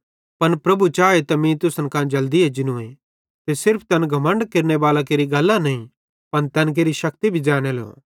पन प्रभु चाए त मीं तुसन कां जल्दी एजनूए ते न सिर्फ तैन घमण्ड केरनेबालां केरि गल्लां नईं पन तैन केरि शेक्ति भी ज़ैनेलो